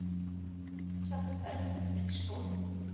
Ætlarðu berfættur í skólann?